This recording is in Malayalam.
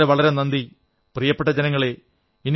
വളരെ വളരെ നന്ദി പ്രിയപ്പെട്ട ജനങ്ങളേ